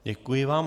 Děkuji vám.